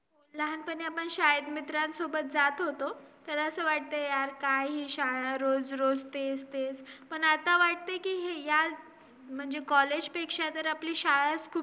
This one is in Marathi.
नंतर विषय आहे तो आम्हाला research methodology market related research stall